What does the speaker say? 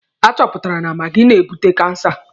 A chọpụtara na maagi na-ebute kansa.